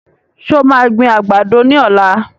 Ṣé o maa gbin àgbàdo ní ọ̀la?